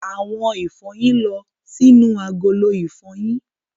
Àwọn ìfọyín lọ sínú agolo ìfọyín.